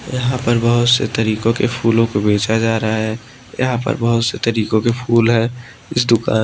यहां पर बहोत से तरीकों के फूलों को बेचा जा रहा है यहां पर बहोत से तरीकों के फूल है इस दुकान --